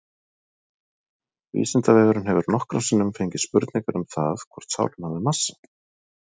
Vísindavefurinn hefur nokkrum sinnum fengið spurningar um það hvort sálin hafi massa.